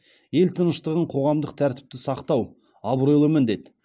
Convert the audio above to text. ел тыныштығын қоғамдық тәртіпті сақтау абыройлы міндет